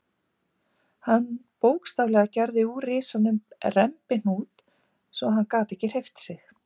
Hann bókstaflega gerði úr risanum rembihnút svo að hann gat ekki hreyft sig.